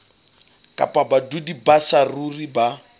kapa badudi ba saruri ba